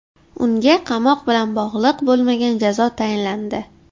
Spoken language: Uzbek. Unga qamoq bilan bog‘liq bo‘lmagan jazo tayinlandi.